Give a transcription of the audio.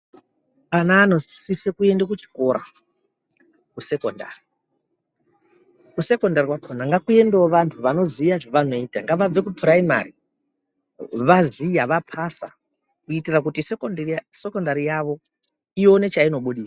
Ana anosise kuende kuchikora, kusekondari. Kusekondari kwakona ngakuendewo vantu vanoziva zvavanoita. Ngavabve kupuraimari vaziya vapasa kuitira kuti sekondari yavo ione chainobudisa.